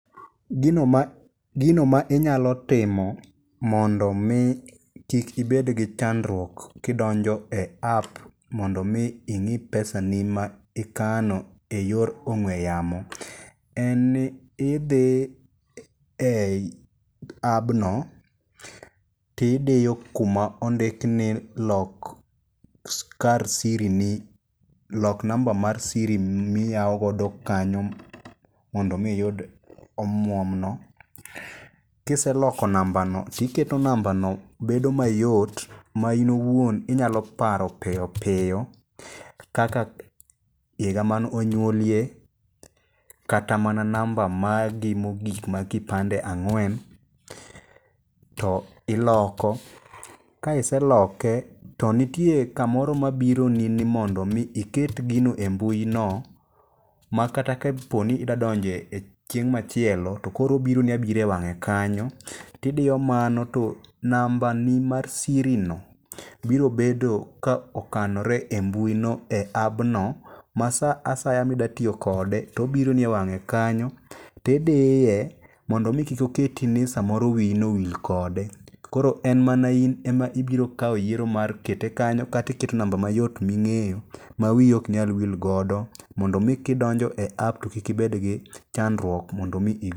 Gino ma inyalo timo mondo mi kik ibed gi chandruok kidonjo e app mondo mi ing'i pesani ma ikano e yor ong'we yamo, en ni idhi eyi appno ti idiyo kuma ondik ni lok kar siri ni lok namba mar siri miyaw godo kanyo mondo mi iyud omuom no. Kiseloko namba no tiketo namba no bedo mayot ma in owuon inyalo paro piyo piyo kaka higa man onyuolie kata namba magi mogik mag kipande ang'wen. To iloko. Ka iseloke to nitie kamoro mabironi ni mondo mi iket gino e mbui no makata koponi idwa donjo e chieng' machielo tokoro obironi abira e wang'e kanyo. Tidiyo mano to namba ni mar siri no biro bedo ka okanore e mbui no e appno ma sa asaya midwa tiyokode tobironi e wang'e kanyo tidiye mondo omi kik oketi ni samoro wiyi nowil kode. Kor en mana in ema ibiro kawo yiero mar kete kanyo kata iketo namba mayot ming'eyo ma wiyi ok nyal wil godo mondo mi kidonjo e app to kik ibed gi chandruok mondo mi...